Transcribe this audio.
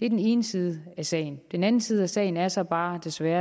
det er den ene side af sagen den anden side af sagen er så bare desværre